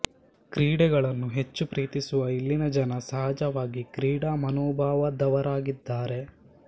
ಕ್ರೀಡೆಗಳನ್ನು ಹೆಚ್ಚು ಪ್ರೀತಿಸುವ ಇಲ್ಲಿನ ಜನ ಸಹಜವಾಗಿ ಕ್ರೀಡಾ ಮನೋಭಾವದವರಾಗಿದ್ದಾರೆ